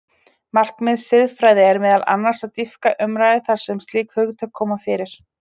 Markmið siðfræði er meðal annars að dýpka umræðu þar sem slík hugtök koma fyrir.